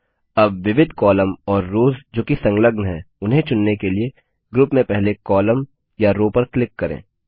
अब विविध कॉलम और रोव्स जो कि संलग्न है उन्हें चुनने के लिए ग्रुप में पहले कॉलम या रो पर क्लिक करें